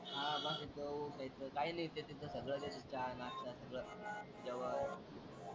हा वाटेल तेव्हा उठायचं काय लिह्त्यात तिथं सगळं देत्यात चहा नाश्ता सगळं जेवण.